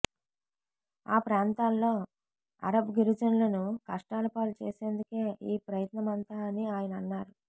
ఆ ప్రాంతాల్లో అరబ్ గిరిజనులను కష్టాల పాలు చేసేందుకే ఈ ప్రయత్నమంతా అని ఆయన అన్నారు